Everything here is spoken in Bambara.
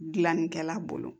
Gilannikɛla bolo